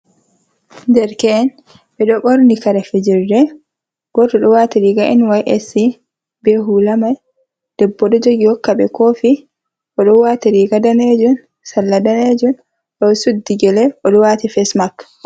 Derke’en ɓeɗo ɓorni kare fijirde, goto ɗo wati riga nysc be hula man, ɗebbo ɗo jogi hokka ɓe kofi, oɗo wati riga ɗanejum, sarla ɗanejum, oɗo sudi gyele, oɗo wati fasmark.